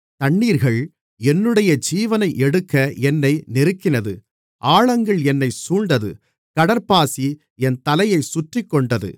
தண்ணீர்கள் என்னுடைய ஜீவனை எடுக்க என்னை நெருக்கினது ஆழங்கள் என்னைச் சூழ்ந்தது கடற்பாசி என் தலையைச் சுற்றிக்கொண்டது